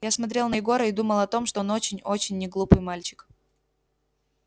я смотрел на егора и думал о том что он очень очень неглупый мальчик